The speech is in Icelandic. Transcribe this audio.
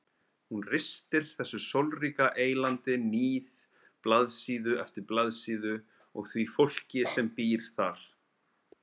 Hún ristir þessu sólríka eylandi níð blaðsíðu eftir blaðsíðu og því fólki sem býr þar.